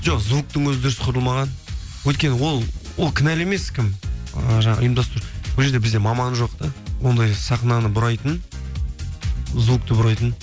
жоқ звуктың өзі дұрыс құрылмаған өйткені ол кінәлі емес кім і жаңағы ұйымдастыру ол жерде бізде маман жоқ та ондай сахнаны бұрайтын звукты бұрайтын